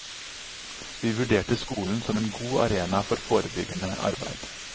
Vi vurderte skolen som en god arena for forebyggende arbeid.